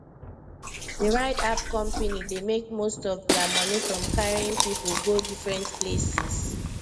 the ride app company dey make most of their money from carrying people go different places